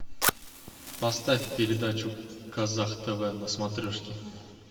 поставь передачу казах тв на смотрешке